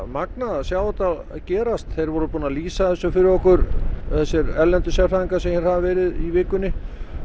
magnað að sjá þetta gerast þeir voru búnir að lýsa þessu fyrir okkur þessi erlendu sérfræðingar sem hafa verið í vikunni